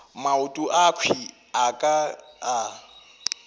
maoto akhwi a ka a